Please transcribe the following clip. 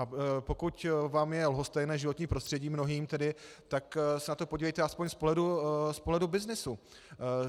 A pokud vám je lhostejné životní prostředí, mnohým tedy, tak se na to podívejte alespoň z pohledu byznysu.